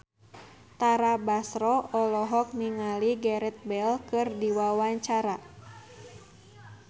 Tara Basro olohok ningali Gareth Bale keur diwawancara